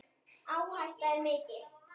Áhættan er mikil.